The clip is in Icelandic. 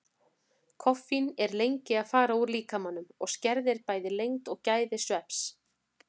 Koffín er lengi að fara úr líkamanum og skerðir bæði lengd og gæði svefns.